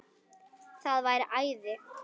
Það væri æði